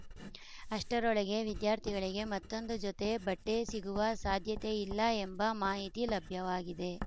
ಅಷ್ಟರೊಳಗೆ ವಿದ್ಯಾರ್ಥಿಗಳಿಗೆ ಮತ್ತೊಂದು ಜೊತೆ ಬಟ್ಟೆಸಿಗುವ ಸಾಧ್ಯತೆಯಿಲ್ಲ ಎಂಬ ಮಾಹಿತಿ ಲಭ್ಯವಾಗಿದೆ